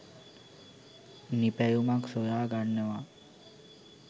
නිපැයුමක් සොයාගන්නවා.